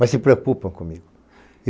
Mas se preocupam comigo.